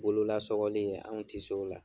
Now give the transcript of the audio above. Bolola sɔgɔli anw ti se o la